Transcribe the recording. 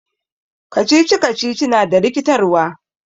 Riddles is confusing.